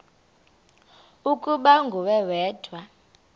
ukuba nguwe wedwa